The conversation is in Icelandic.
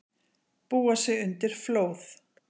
Búa sig undir flóð